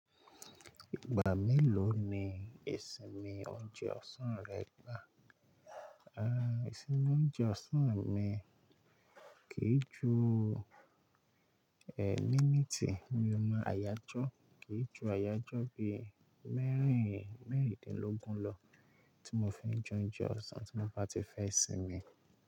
Ìgbà mélòó ni ìsinmi oúnjẹ ọ̀sán rẹ gbà? A, ìsinmi oúnjẹ ọ̀sán mi kì í ju, ẹ́, míìtì ni mo máa yanjú, kì í ju àyájọ́ bí mẹ́rin, mẹ́rìndínlógún lọ tí mo fi jẹ oúnjẹ ọ̀sán tí mo bá ti fẹ́ sinmi.